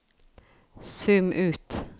zoom ut